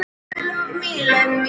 Hlæjum bara.